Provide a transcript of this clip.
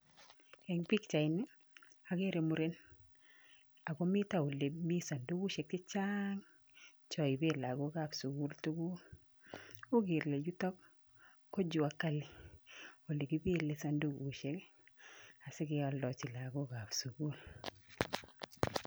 Eng pikchaini, akere muren akomito olemi sandukushek chechang choipe lagokap sukul tuguk u kele yuto ko juakali olekipele sandukushek asikeoldochi lagokap sukul.